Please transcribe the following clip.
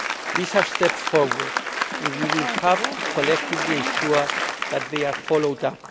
These are steps forward and we will have to collectively ensure that they are followed up.